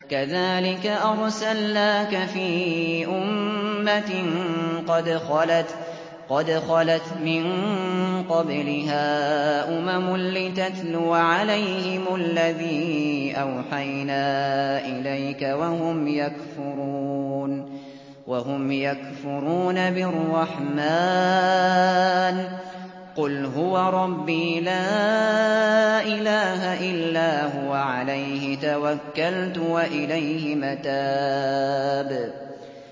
كَذَٰلِكَ أَرْسَلْنَاكَ فِي أُمَّةٍ قَدْ خَلَتْ مِن قَبْلِهَا أُمَمٌ لِّتَتْلُوَ عَلَيْهِمُ الَّذِي أَوْحَيْنَا إِلَيْكَ وَهُمْ يَكْفُرُونَ بِالرَّحْمَٰنِ ۚ قُلْ هُوَ رَبِّي لَا إِلَٰهَ إِلَّا هُوَ عَلَيْهِ تَوَكَّلْتُ وَإِلَيْهِ مَتَابِ